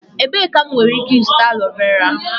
Ebee ka m nwere ike ịzụta aloe vera?